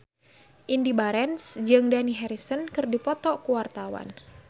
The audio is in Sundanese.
Indy Barens jeung Dani Harrison keur dipoto ku wartawan